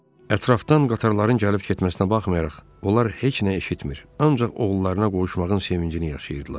Ətrafdan qatarların gəlib-getməsinə baxmayaraq, onlar heç nə eşitmir, ancaq oğullarına qovuşmağın sevincini yaşayırdılar.